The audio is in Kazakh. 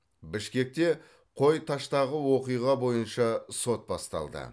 бішкекте қой таштағы оқиға бойынша сот басталды